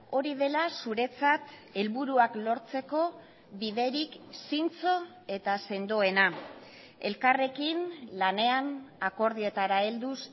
hori dela zuretzat helburuak lortzeko biderik zintzo eta sendoena elkarrekin lanean akordioetara helduz